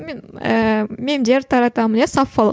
мен ііі мемдер таратамын иә саффолық